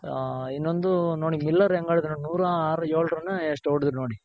ಹ ಇನ್ನೊಂದು ನೋಡಿ ಮಿಲ್ಲರ್ ಹೆಂಗ್ ಆಡಿದ್ರು ನೋಡಿ ನೂರಾ ಆರ್ ಏಳ್ run ಎಷ್ಟೋ ಹೊಡೆದ್ರ್ ನೋಡಿ.